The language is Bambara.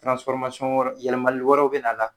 wɛrɛ yɛlɛmali wɛrɛw bina a la